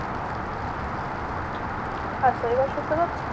আচ্ছা এবার শুনতে পাচ্ছেন?